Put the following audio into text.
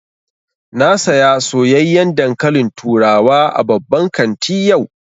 Na saya soyayyan dankalin turawa a babban kanti yau